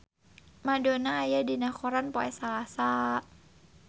Madonna aya dina koran poe Salasa